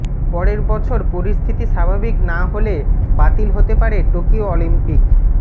পরের বছর পরিস্থিতি স্বাভাবিক না হলে বাতিল হতে পারে টোকিও অলিম্পিক